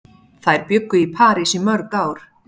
Þær bjuggu í París í mörg ár.